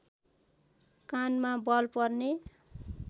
कानमा बल पर्ने